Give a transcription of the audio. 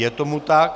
Je tomu tak.